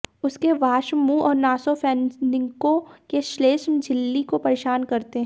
उसके वाष्प मुंह और नासोफैनिन्को के श्लेष्म झिल्ली को परेशान करते हैं